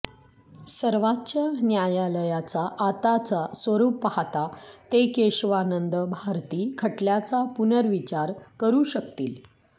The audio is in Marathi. सर्वोच्च न्यायालयाचा आताचं स्वरुप पाहता ते केशवानंद भारती खटल्याचा पुनर्विचार करू शकतील